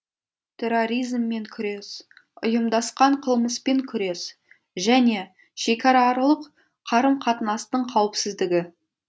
терроризммен күрес ұйымдасқан қылмыспен күрес және шекарааралық қарым қатынастың қауіпсіздігі